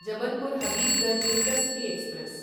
Jabalpur Habibganj intercity express